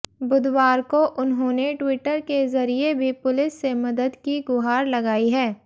बुधवार को उन्होंने ट्विटर के जरिए भी पुलिस से मदद की गुहार लगाई है